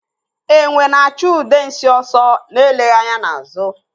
Enwe na-achụ Udensi ọsọ na-eleghị anya n'azụ.